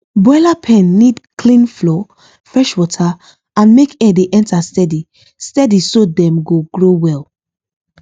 broiler pen need clean floor fresh water and make air dey enter steady steady so dem go grow wel